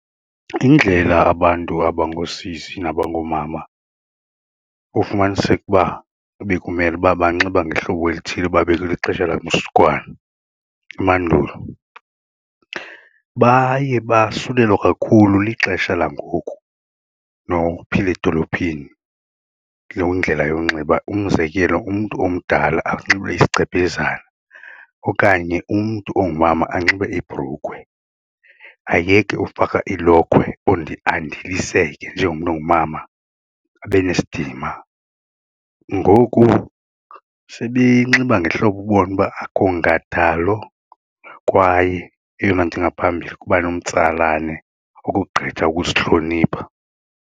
Indlela abantu abangoosisi nabangoomama ufumaniseke uba bekumele uba banxiba ngehlobo elithile uba bekulixesha lamzukwana, mandulo. Baye basulelwa kakhulu lixesha langoku nokuphila edolophini loo ndlela yokunxiba, umzekelo umntu omdala anxibe isigcebhezana okanye umntu ongumama anxibe ibhrukhwe ayeke ufaka ilokhwe andiliseke njengomntu ongumama abe nesidima. Ngoku sebenxiba ngehlobo ubone uba akho nkathalo kwaye eyona nto ingaphambili kuba nomtsalane ukogqitha ukusihlonipha.